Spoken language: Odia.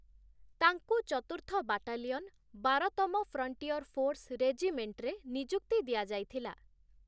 ତାଙ୍କୁ ଚତୁର୍ଥ ବାଟାଲିଅନ, ବାରତମ ଫ୍ରଣ୍ଟିୟର ଫୋର୍ସ ରେଜିମେଣ୍ଟରେ ନିଯୁକ୍ତି ଦିଆଯାଇଥିଲା ।